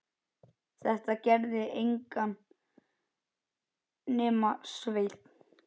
Þetta gerði enginn nema Sveinn.